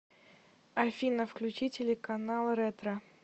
афина включи телеканал ретро